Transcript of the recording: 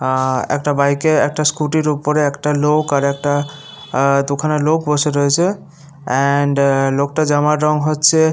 আ একটা বাইক -এ একটা স্কুটি ওপরে একটা লোক আর একটা আ দুখানা লোক বসে রয়েছে এন্ড -এ লোকটার জামার রং হচ্ছে।